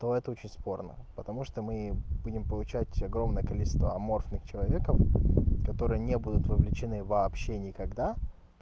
то это очень спорно потому что мы будем получать огромное количество аморфных человеков которые не будут вовлечены вообще никогда